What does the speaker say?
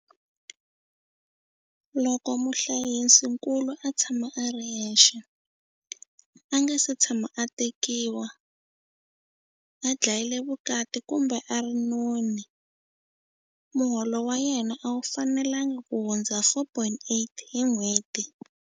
Loko muhlayisinkulu a tshama a ri yexe, a nga si tshama a tekiwa, a dlayile vukati kumbe a ri noni, muholo wa yena a wu fanelangi kuhundza R4 800 hi n'hweti.